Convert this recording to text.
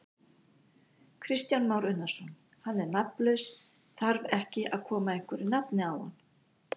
Kristján Már Unnarsson: Hann er nafnlaus, þar ekki að koma einhverju nafni á hann?